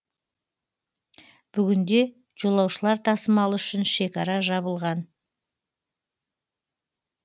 бүгінде жолаушылар тасымалы үшін шекара жабылған